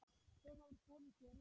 Hver hefur boðið þér inn?